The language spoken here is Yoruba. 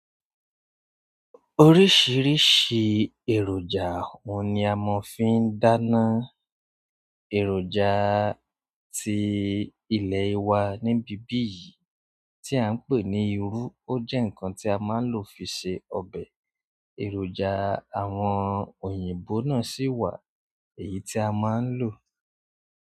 Oríṣìíríṣìí èròjà ohun ni a mo fi ń dáná. Èròjà tí ilẹ̀ wa níbí bí yìí tí à ń pè ní "iru" ó jẹ́ nǹkan tí a máa ń lò fi ṣe ọbẹ̀. Èròjà àwọn òyìnbó náà sì wà èyí tí a máa ń lò.